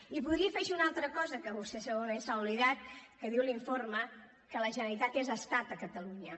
i voldria afegir una altra cosa que vostè segurament se n’ha oblidat que diu l’informe que la generalitat és estat a catalunya